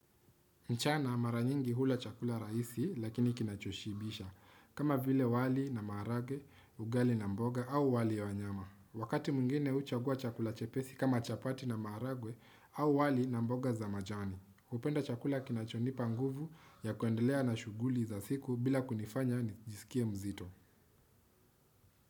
Mchana mara nyingi hula chakula rahisi lakini kinachoshibisha kama vile wali na maharage, ugali na mboga au wali ya wanyama. Wakati mwingine huchagua chakula chepesi kama chapati na maharage au wali na mboga za majani. Hupenda chakula kinachonipa nguvu ya kuendelea na shughuli za siku bila kunifanya nijisikie mzito.